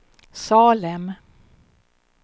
Salem